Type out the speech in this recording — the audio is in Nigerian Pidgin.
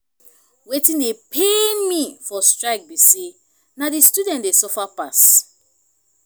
wetin dey pain me for strike be say na the students dey suffer pass